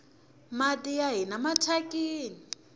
mati ya hina mathyakini